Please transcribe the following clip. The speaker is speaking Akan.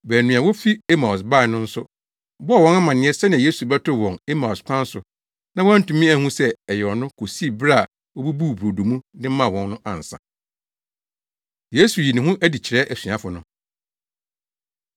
Baanu a wofi Emaus bae no nso bɔɔ wɔn amanneɛ sɛnea Yesu bɛtoo wɔn Emaus kwan so na wɔantumi anhu sɛ ɛyɛ ɔno kosii bere a obubuu brodo mu de maa wɔn no ansa. Yesu Yi Ne Ho Adi Kyerɛ Asuafo No